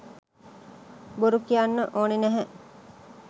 බොරු කියන්න ඕන නැහැ